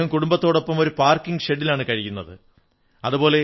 അദ്ദേഹം കുടുംബത്തോടൊപ്പം ഒരു പാർക്കിംഗ് ഷെഡിലാണ് കഴിയുന്നത്